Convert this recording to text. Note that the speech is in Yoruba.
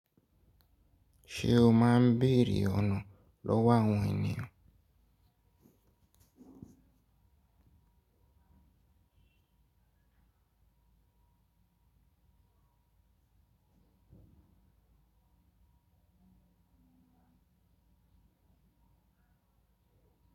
Ṣé o máa ń béèrè ọ̀nà lọ́wọ́ àwọn ènìyàn?